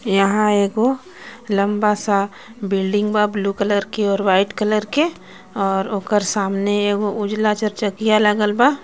यहां एगो लम्बा सा बिल्डिंग बा ब्लू कलर के और व्हाइट कलर के और ओकर सामने एगो उजला चारचकिया लागल बा.